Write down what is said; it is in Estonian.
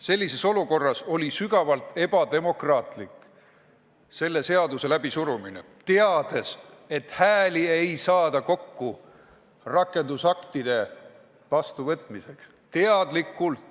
Sellises olukorras oli sügavalt ebademokraatlik selle seaduse läbisurumine, teades, et hääli rakendusaktide vastuvõtmiseks kokku ei saada.